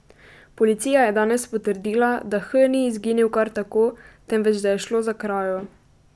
Policija je danes potrdila, da H ni izginil kar tako, temveč da je šlo za krajo.